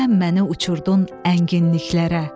Sən məni uçurtdun ənginliklərə.